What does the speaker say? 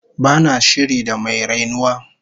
Ba na shiri da mai rainuwa